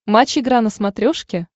матч игра на смотрешке